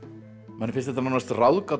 manni finnst þetta nánast ráðgáta